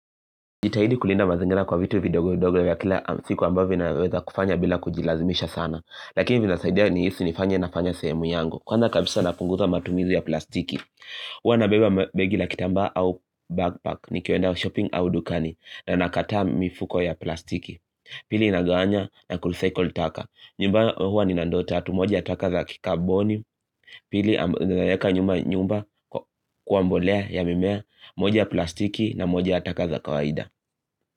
Jitahidi kulinda mazingira kwa vitu vidogo-dogo ya kila siku ambavi naweza kufanya bila kujilazimisha sana Lakini vinasaidia ni hisi nifanya nafanya semu yango Kwanza kabisa na pungusa matumizi ya plastiki Hwa na beba begi la kitamba au backpack ni kiwenda shopping au dukani na nakataa mifuko ya plastiki Pili inaganya na kulusiko utaka nyumba huwa ni nandota atu moja ya taka za kikaboni Pili inayeka nyumba kuambolea ya mimea moja ya plastiki na moja ya taka za kawaida.